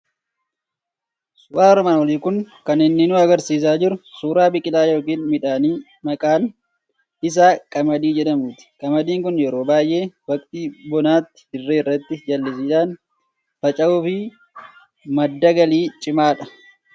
Suuraan armaan olii kun kan inni nu argisiisaa jiru suuraa biqilaa yookiin midhaanii maqaan isaa qamadii jedhamuuti. Qamadiin kun yeroo baay'ee waqtii bonaatti dirree irratti jallisiidhaan faca'uu fi madda galii cimaadha.